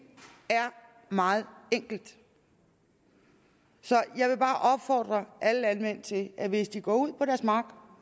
er meget enkelt så jeg vil bare opfordre alle landmænd til at hvis de går ud på deres mark